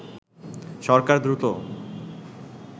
সরকার দ্রুত